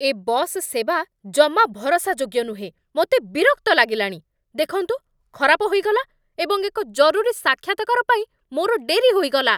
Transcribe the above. ଏ bus ସେବା ଜମା ଭରସାଯୋଗ୍ୟ ନୁହେଁ, ମୋତେ ବିରକ୍ତ ଲାଗିଲାଣି। ଦେଖନ୍ତୁ ଖରାପ ହୋଇଗଲା, ଏବଂ ଏକ ଜରୁରୀ ସାକ୍ଷାତକାର ପାଇଁ ମୋର ଡେରି ହୋଇଗଲା!